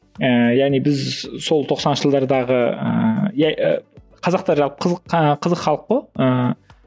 ыыы яғни біз сол тоқсаныншы жылдардағы ыыы қазақтар жалпы қызық ы қызық халық қой ыыы